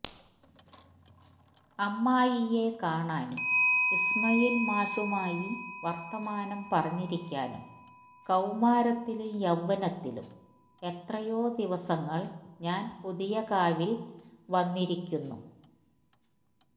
അമ്മായിയെ കാണാനും ഇസ്മായില് മാഷുമായി വര്ത്തമാനം പറഞ്ഞിരിക്കാനും കൌമാരത്തിലും യൌവ്വനത്തിലും എത്രയോ ദിവസങ്ങള് ഞാന് പുതിയകാവില് വന്നിരിക്കുന്നു